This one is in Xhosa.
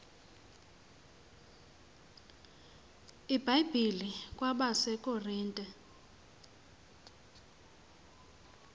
ibhayibhile kwabase korinte